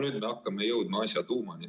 No nüüd hakkame jõudma asja tuumani.